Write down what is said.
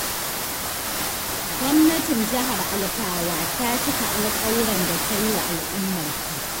Gwamnatin Jihar Alfawa ta cika alƙawuran da ta yi wa al'ummarta.